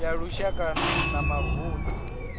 ya lushaka na ya mavunḓu